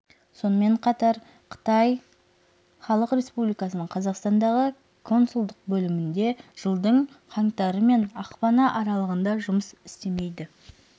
сонымен қатар қытай халық республикасының қазақстандағы консулдық бөлімі де жылдың қаңтары мен ақпаны аралығында жұмыс істемейді